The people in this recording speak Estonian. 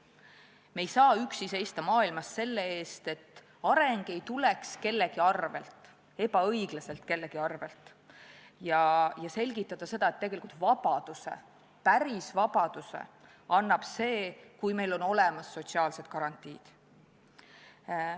Me ei saa üksi seista maailmas selle eest, et areng ei tuleks kellegi arvel, ebaõiglaselt kellegi arvel, ja selgitada seda, et tegelikult annab vabaduse, päris vabaduse see, kui meil on olemas sotsiaalsed garantiid.